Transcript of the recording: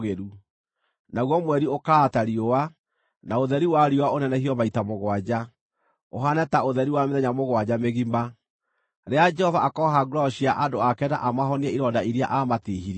Naguo mweri ũkaara ta riũa, na ũtheri wa riũa ũnenehio maita mũgwanja, ũhaane ta ũtheri wa mĩthenya mũgwanja mĩgima, rĩrĩa Jehova akooha nguraro cia andũ ake na amahonie ironda iria aamatiihirie.